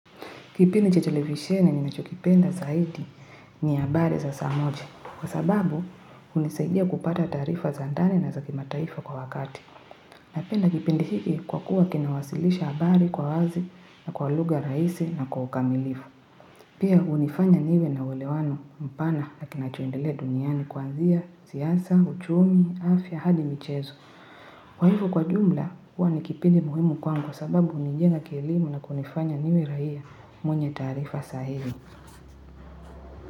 Kipindi cha televisheni ninacho kipenda zaidi ni habari za saa moja kwa sababu, hunisaidia kupata taarifa za ndani na za kimataifa kwa wakati. Napenda kipindi hiki kwa kuwa kinawasilisha habari kwa wazi na kwa lugha rahisi na kwa ukamilifu. Pia hunifanya niwe na uelewano mpana na kinacho endelea duniani kwanzia siasa, uchumi, afya hadi michezo kwa hivyo kwa jumla, huwa ni kipindi muhimu kwangu kwa sababu ni njia ya kielimu na kunifanya niwe raia mwenye taarifa sahihi.